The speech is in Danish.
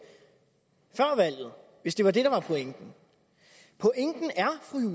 før valget hvis det var det der var pointen pointen er